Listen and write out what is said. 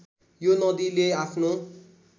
यो नदीले आफ्नो